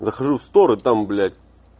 захожу стороны там блять